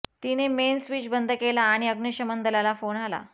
तिने main switch बंद केला आणि अग्निशमन दलाला फोन केला